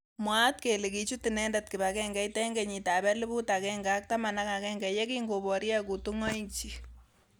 Mwaat kele kichut inendet kipagengeit eng kenyit ab elibu aeng ak taman agenge yekingoborye kutungoik chik.